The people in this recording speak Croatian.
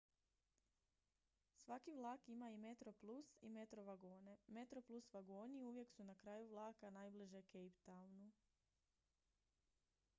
svaki vlak ima i metroplus i metro vagone metroplus vagoni uvijek su na kraju vlaka najbliže cape townu